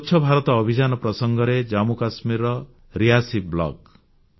ସ୍ୱଚ୍ଛ ଭାରତ ଅଭିଯାନ ପ୍ରସଙ୍ଗରେ ଜାମ୍ମୁକାଶ୍ମୀରର ରିୟାସୀ ବ୍ଲକ